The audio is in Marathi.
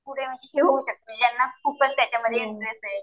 पुढे ज्यांना खूपच त्यामध्ये इंटरेस्ट आहे.